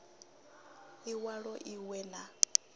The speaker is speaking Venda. i walo i we na